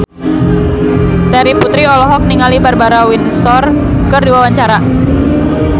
Terry Putri olohok ningali Barbara Windsor keur diwawancara